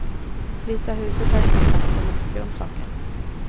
Vita huset har inte sagt vad man tycker om saken.